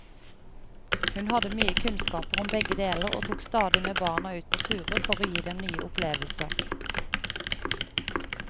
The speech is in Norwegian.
Hun hadde mye kunnskaper om begge deler, og tok stadig med barna ut på turer for å gi dem nye opplevelser.